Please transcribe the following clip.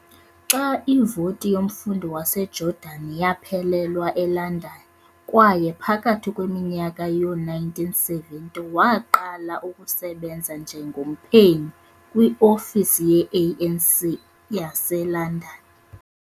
Xa ivoti yomfundi waseJordani yaphelelwa eLondon kwaye phakathi kweminyaka yo-1970 waqala ukusebenza njengomphenyi kwiofisi ye-ANC yaseLondon.